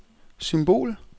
symbol